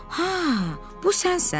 Ha, bu sənsən?